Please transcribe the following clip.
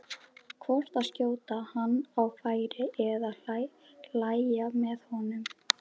hvort að skjóta hann á færi eða hlæja með honum.